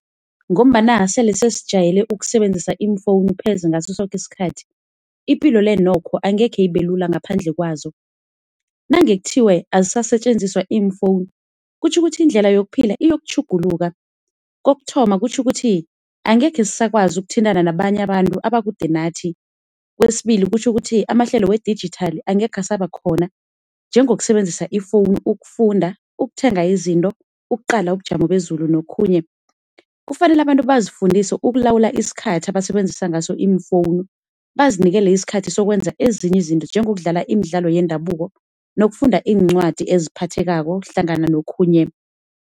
Ngombana sele sesijayele ukusebenzisa iimfonu pheze ngaso soke isikhathi, ipilole nokho angeze ibelula ngaphandle kwazo. Nange kuthiwe azisasetjenziswa iimfonu, kutjho ukuthi indlela yokuphila iyokutjhuguluka. Kokuthoma kutjho ukuthi angekhe sisakwazi ukuthintana nabanye abantu abakude nathi, kwesibili kutjho ukuthi amahlelo we-digital angeze asaba khona, njengokusebenzisa ifoni ukufunda, ukuthenga izinto, ukuqala ubujamo bezulu nokhunye. Kufanele abantu bazifundise ukulawula isikhathi abasebenzisa ngaso iimfonu, bazinikele ezinye isikhathi sokwenza ezinye izinto njengokudlalala imidlalo yendabuko nokufunda iincwadi eziphathekako hlangana nokhunye.